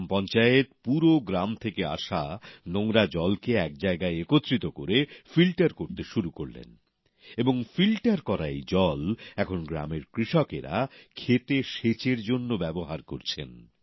গ্রাম পঞ্চায়েত পুরো গ্রাম থেকে আসা নোংরা জলকে এক জায়গায় একত্রিত করে ফিল্টার করতে শুরু করলেন এবং ফিল্টার করা এই জল এখন গ্রামের কৃষকরা ক্ষেতে সেচের জন্য ব্যবহার করছেন